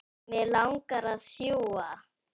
Mig langar að sjúga.